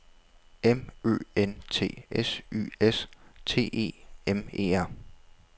M Ø N T S Y S T E M E R